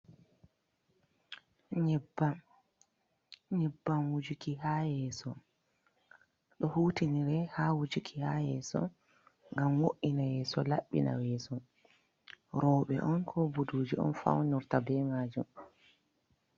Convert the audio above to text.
Nyebbam wujuki ha yeso. Ɗo hutinire ha wujuki ha yeso. ngam wo’ina yeso, laɓɓina yeso. Roɓe on ko ɓuɗuji on faunurta ɓe majum.